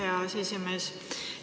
Aitäh, hea aseesimees!